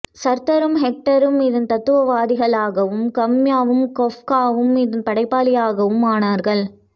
சார்த்தரும் ஹைடெக்கரும் இதன் தத்துவவாதிகளாக வும் காம்யுவும் காஃப்காவும் இதன் படைப்பாளிகளாகவும் ஆனார்கள்